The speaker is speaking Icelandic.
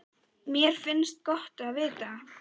Mér finnst gott að vita það.